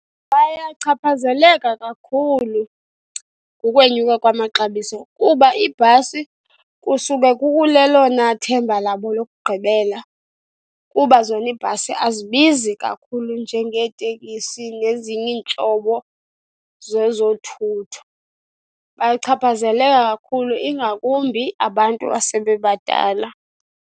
Bayachaphazeleka kakhulu kukwenyuka kwamaxabiso kuba iibhasi kusuke kulelona ithemba labo lokugqibela kuba zona iibhasi azibizi kakhulu njengeeteksi nezinye iintlobo zezothutho. Bayachaphazela kakhulu ingakumbi abantu asebebadala.